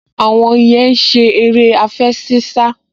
Àwọn yẹn ń ṣe eré àfẹṣinsá